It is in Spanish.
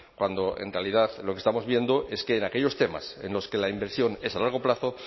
cuando en realidad lo que estamos viendo es que en aquellos temas en los que la inversión es a largo plazo